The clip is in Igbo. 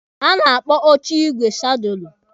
A na-akpọ oche igwe sadụlụ.